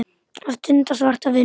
Að stunda svarta vinnu.